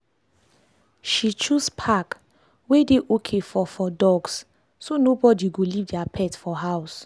she choose park wey dey okay for for dogs so nobody go leave their pet for house.